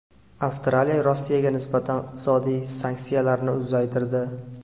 Avstraliya Rossiyaga nisbatan iqtisodiy sanksiyalarni uzaytirdi.